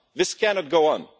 This cannot go on.